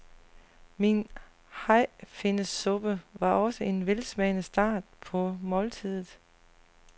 Min hajfinnesuppe var også en velsmagende start på måltidet.